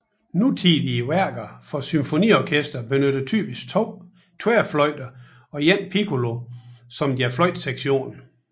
Nutidige værker for symfoniorkester benytter typisk to tværfløjte og én piccolo som deres fløjtesektion